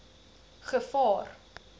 gevaar